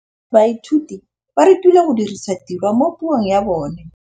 Baithuti ba rutilwe go dirisa tirwa mo puong ya bone.